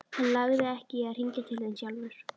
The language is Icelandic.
Hann lagði ekki í að hringja til þín sjálfur.